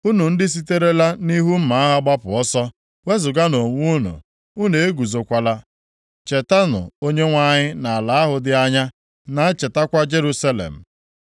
Unu ndị siterela nʼihu mma agha gbapụ ọsọ, wezuganụ onwe unu, unu eguzokwala. Chetanụ Onyenwe anyị nʼala ahụ dị anya, na-echetakwa Jerusalem.”